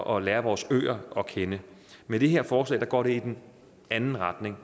og lære vores øer at kende med det her forslag går det i den anden retning